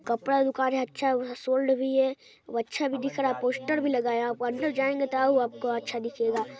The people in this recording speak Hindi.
कपड़ा दुकान है अच्छा वह सोल्ड भी है | और अच्छा भी दिख रहा है पोस्टर भी लगाया है और अंदर भी जायेंगे तो और भी अच्छा दिखेगा।